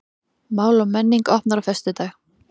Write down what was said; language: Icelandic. Mál og menning opnar á föstudag